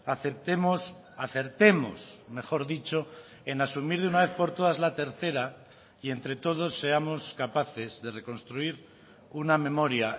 aceptemos acertemos mejor dicho en asumir de una vez por todas la tercera y entre todos seamos capaces de reconstruir una memoria